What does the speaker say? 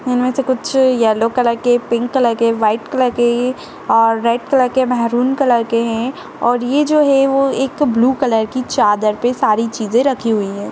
इन मे से कुछ येलो कलर के पिंक कलर के व्हाइट कलर के अ-रेड कलर के मैरून कलर के हैं और ये जो है वो एक ब्लू कलर की चादर पे सारी चीजें रखी हुई हैं।